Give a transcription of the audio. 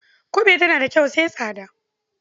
Ƙube tana da kyau sai tsada.